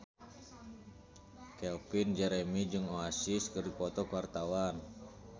Calvin Jeremy jeung Oasis keur dipoto ku wartawan